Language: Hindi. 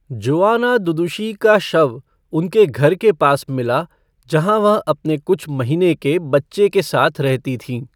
जोआना दुदुशी का शव उनके घर के पास मिला, जहाँ वह अपने कुछ महीने के बच्चे के साथ रहती थीं।